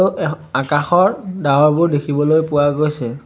অ এহ আকাশৰ ডাৱৰবোৰ দেখিবলৈ পোৱা গৈছে।